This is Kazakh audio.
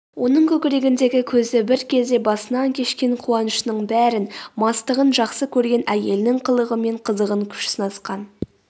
оның көкірегіндегі көзі бір кезде басынан кешкен қуанышының бәрін мастығын жақсы көрген әйелінің қылығы мен қызығын күш сынасқан